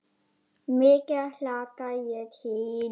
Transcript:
Mikið hlakka ég til.